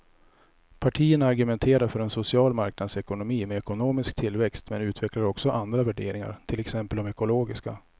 Partierna argumenterar för en social marknadsekonomi med ekonomisk tillväxt men utvecklar också andra värderingar, till exempel de ekologiska.